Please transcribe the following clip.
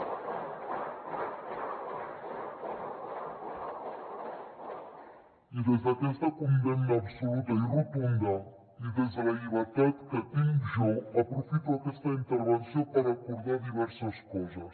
i des d’aquesta condemna absoluta i rotunda i des de la llibertat que tinc jo aprofito aquesta intervenció per recordar diverses coses